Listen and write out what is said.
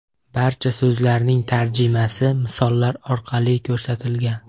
Barcha so‘zlarning tarjimasi misollar orqali ko‘rsatilgan.